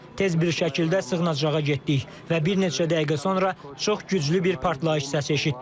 Tez bir şəkildə sığınacağa getdik və bir neçə dəqiqə sonra çox güclü bir partlayış səsi eşitdik.